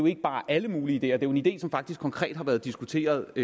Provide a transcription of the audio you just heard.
ikke bare er alle mulige ideer det jo en idé som faktisk konkret har været diskuteret